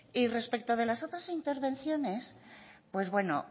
y respecto de las otras intervenciones pues bueno